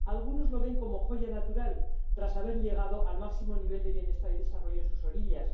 Algunos lo ven como joya natural, tras haber llegado al máximo nivel de bienestar y desarrollo en sus orillas.